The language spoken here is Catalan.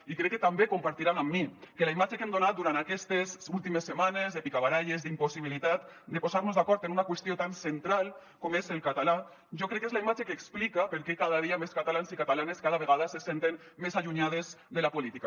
i crec que també deuran compartir amb mi que la imatge que hem donat durant aquestes últimes setmanes de picabaralles d’impossibilitat de posar nos d’acord en una qüestió tan central com és el català jo crec que és la imatge que explica per què cada dia més catalans i catalanes cada vegada se senten més allunyades de la política